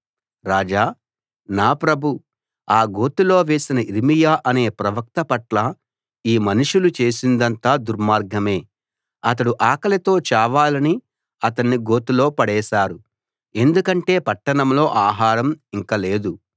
రాజా నా ప్రభూ ఆ గోతిలో వేసిన యిర్మీయా అనే ప్రవక్త పట్ల ఈ మనుషులు చేసిందంతా దుర్మార్గమే అతడు ఆకలితో చావాలని అతన్ని గోతిలో పడేశారు ఎందుకంటే పట్టణంలో ఆహారం ఇంక లేదు